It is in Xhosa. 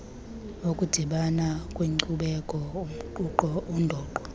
ukudibana kweenkcubeko undoqo